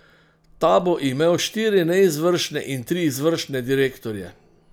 Ta bo imel štiri neizvršne in tri izvršne direktorje.